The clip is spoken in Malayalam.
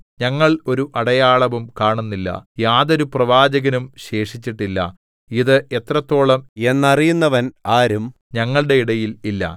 ഞങ്ങൾ ഒരു അടയാളവും കാണുന്നില്ല യാതൊരു പ്രവാചകനും ശേഷിച്ചിട്ടില്ല ഇത് എത്രത്തോളം എന്നറിയുന്നവൻ ആരും ഞങ്ങളുടെ ഇടയിൽ ഇല്ല